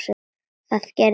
Það gerði ég.